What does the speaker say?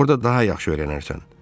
Orada daha yaxşı öyrənərsən.